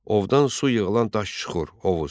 Ovdan su yığılan daş çuxur hovuz.